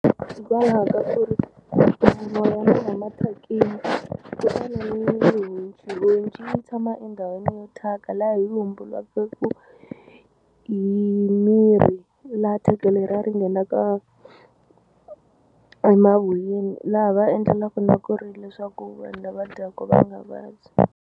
Hikwalaho ka ku ri mavoya ma va ma thyakini kutani honci yi tshama endhawini yo thyaka laha yi hi miri laha thyaka leriya ri nghenaka emavoyeni laha va endlelaku na ku ri leswaku vanhu lava dyaku va nga vabyi.